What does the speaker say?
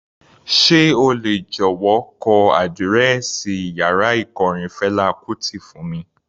Sé o lè jọ̀wọ́ kọ àdírẹ́ẹ̀sì yàrá ikọrin Fela Kuti fún mi?